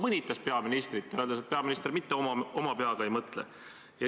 Ma olen nõus, et tõenäoliselt on igal kohtuotsusel üks osapool, kes tulemusega rahul ei ole.